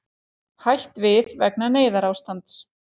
Hætt við vegna neyðarástands